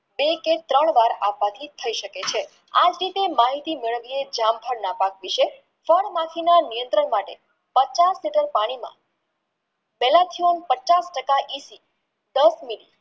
બે કે ત્રણ વાર અપચિત થઈ શકે છે આજ રીતે માહિતી મેલાવિયે જળ થળ ના પાક વિષે ફળ માટીના નિયંત્રણ માટે બચાવ થતો પાણીમાં પચાસ ટકા દસ